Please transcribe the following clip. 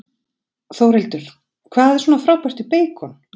Þórhildur: Hvað er svona frábært við beikon?